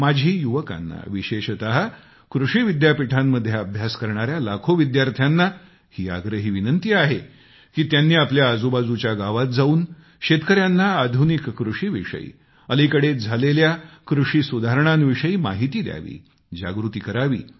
माझी युवकांना विशेषतः कृषीविद्यापीठांमध्ये अभ्यास करणाऱ्या लाखो विद्यार्थ्यांना ही आग्रही विनंती आहे की त्यांनी आपल्या आजूबाजूच्या गावात जाऊन शेतकऱ्यांना आधुनिक कृषीविषयी अलीकडेच झालेल्या कृषी सुधारणांविषयी माहिती द्यावी जागृती करावी